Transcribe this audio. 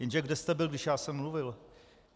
Jenže kde jste byl, když já jsem mluvil?